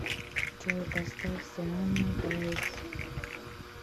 джой поставь сианна блейз